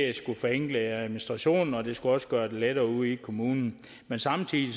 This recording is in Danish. det skulle forenkle administrationen og det skulle også gøre det lettere ude i kommunen men samtidig